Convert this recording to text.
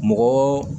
Mɔgɔ